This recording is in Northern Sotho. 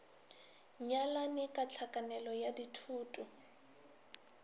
nyalane ka tlhakanelo ya dithoto